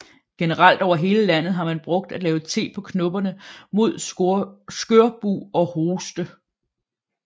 Generelt over hele landet har man brugt at lave te på knopperne mod skørbug og hoste